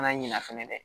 ɲina fɛnɛ dɛ